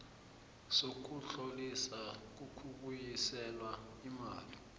sokutloliswa kokubuyiselwa imali